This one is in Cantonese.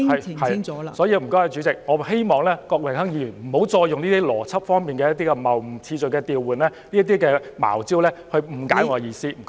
因此，代理主席，我希望郭榮鏗議員不要再透過邏輯謬誤、次序調換等"茅招"誤解我的意思。